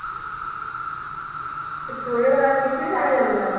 Victoria ਦਾ ਰਾਜ ਕਿਸ ਲਈ ਜਾਣਿਆ ਜਾਂਦਾ ਹੈ।